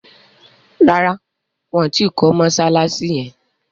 ràrá wón tí kò Mossalassi yén.